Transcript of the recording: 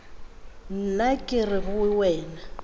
nna ke re go wena